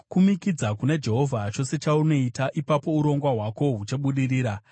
Kumikidza kuna Jehovha chose chaunoita, ipapo urongwa hwako huchabudirira.